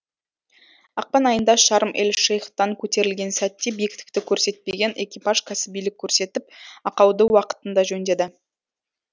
ақпан айында шарм эль шейхтан көтерілген сәтте биіктікті көрсетпеген экипаж кәсібилік көрсетіп ақауды уақытында жөндеді